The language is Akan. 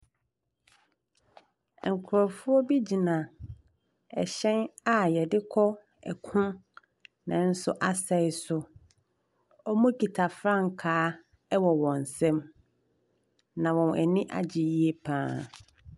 Nkrɔfoɔ bi gyina ɛhyɛn a yɛde kɔ ɛko nanso asei so. Ɔmo kita frankaa ɛwɔ wɔnsam na wɔn ani agye yie paa.